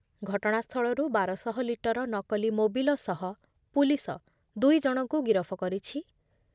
ଘଟଣାସ୍ଥଳରୁ ବାର ଶହ ଲିଟର ନକଲି ମୋବିଲ ସହ ପୁଲିସ ଦୁଇଜଣଙ୍କୁ ଗିରଫ କରିଛି ।